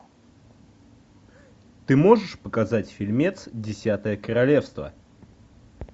ты можешь показать фильмец десятое королевство